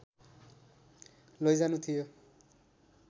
लैजानु थियो